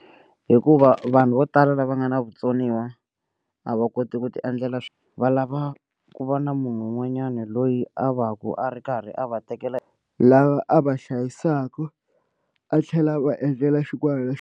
Hikuva vanhu vo tala lava nga na vutsoniwa a va koti ku tiendlela swi va lava ku va na munhu un'wanyani loyi a va ku a ri karhi a va tekela lava a va hlayisaka a tlhela va endlela .